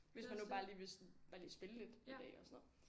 Hvis man nu bare lige vil sådan bare lige spille lidt en dag eller sådan noget